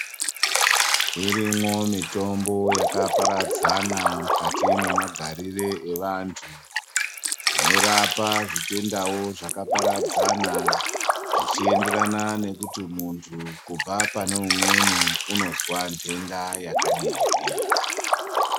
Irimwo mitombo yakaparadzana mukati mwemagariro evantu inorapa zvitendawo zvakaparadzana zvichienderana nekuti muntu kubva pane umweni unozwa ntenda yakadini.